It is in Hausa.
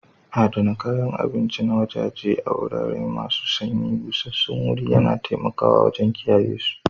Adana kayan abinci na waje a wurare masu sanyi, busassun wuri yana taimakawa wajen kiyayesu.